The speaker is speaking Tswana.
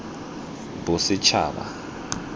bosetšhaba